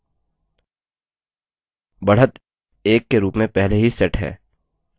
बढ़त 1 के रूप में पहले ही set है अब ok button पर click करें